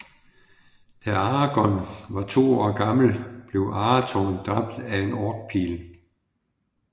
Da Aragorn var to år gammel blev Arathorn dræbt af en orkpil